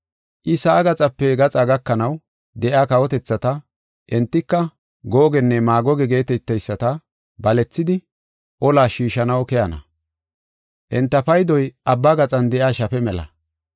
I sa7aa gaxape gaxa gakanaw de7iya kawotethata, entika, Googenne Maagoge geeteteyisata balethidi olas shiishanaw keyana. Enta paydoy abba gaxan de7iya shafe mela.